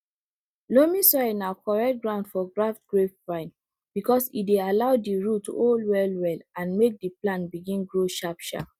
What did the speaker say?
loamy soil na correct ground for graft grapevine because e dey allow di root hold wellwell and make di plant begin grow sharpsharp